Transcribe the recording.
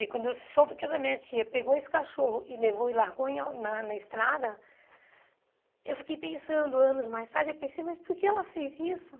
E aí quando eu soube que essa minha tia pegou esse cachorro e levou e largou em a na na estrada, eu fiquei pensando anos mais tarde, eu pensei, mas por que ela fez isso?